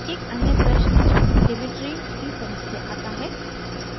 एक अन्य प्रश्न dmitry dmitry की तरफ से आता है